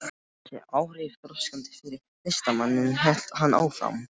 Öll voru þessi áhrif þroskandi fyrir listamanninn hélt hann áfram.